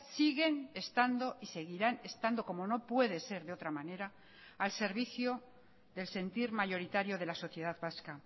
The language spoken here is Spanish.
siguen estando y seguirán estando como no puede ser de otra manera al servicio del sentir mayoritario de la sociedad vasca